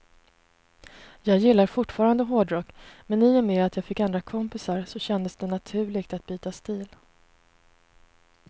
Jag gillar fortfarande hårdrock, men i och med att jag fick andra kompisar så kändes det naturligt att byta stil.